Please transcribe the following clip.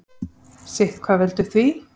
Sitthvað veldur því.